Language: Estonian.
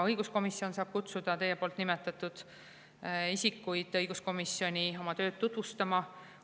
Õiguskomisjon saab kutsuda teie nimetatud isikuid õiguskomisjoni oma tööd tutvustama.